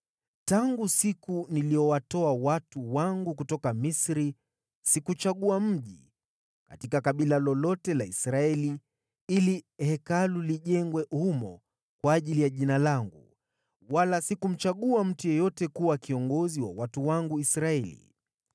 ‘Tangu siku niliyowatoa watu wangu kutoka Misri, sikuchagua mji katika kabila lolote la Israeli ili Hekalu lijengwe humo ili Jina langu lipate kuwamo humo, wala sikumchagua mtu yeyote kuwa kiongozi wa watu wangu Israeli.